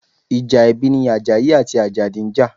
Ìjà ẹbí ni Àjàyí àti Àjàdí ń jà.